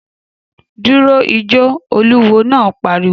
Dúró ijó, olúwo náà pariwo